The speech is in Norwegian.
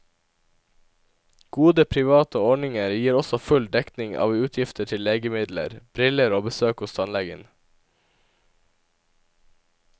Gode private ordninger gir også full dekning av utgifter til legemidler, briller og besøk hos tannlegen.